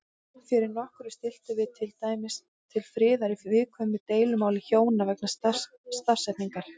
Fyrir nokkru stilltum við til dæmis til friðar í viðkvæmu deilumáli hjóna vegna stafsetningar.